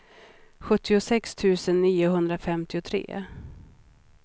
sjuttiosex tusen niohundrafemtiotre